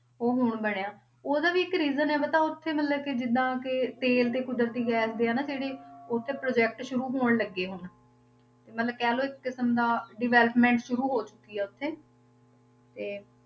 ਉਹ ਹੁਣ ਬਣਿਆ, ਉਹਦਾ ਵੀ ਇੱਕ reason ਹੈ ਪਤਾ ਉੱਥੇ ਮਤਲਬ ਕਿ ਜਿੱਦਾਂ ਕਿ ਤੇਲ ਤੇ ਕੁਦਰਤੀ ਗੈਸ ਦੇ ਆ ਨਾ ਜਿਹੜੇ ਉੱਥੇ project ਸ਼ੁਰੂ ਹੋਣ ਲੱਗੇ ਹੁਣ, ਤੇ ਮਤਲਬ ਕਹਿ ਲਓ ਇੱਕ ਕਿਸਮ ਦਾ development ਸ਼ੂਰੂ ਹੋ ਚੁੱਕੀ ਆ ਉੱਥੇ ਤੇ